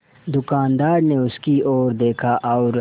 दुकानदार ने उसकी ओर देखा और